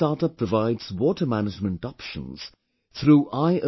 This StartUp provides water management options through I